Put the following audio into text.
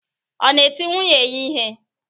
Ọ na-eti nwunye ya ihe?